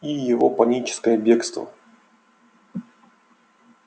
и его паническое бегство